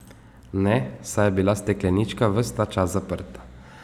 Ne, saj je bila steklenička ves ta čas zaprta.